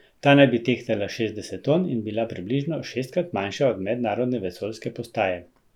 Ta naj bi tehtala šestdeset ton in bila približno šestkrat manjša od Mednarodne vesoljske postaje.